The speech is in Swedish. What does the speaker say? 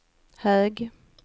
hög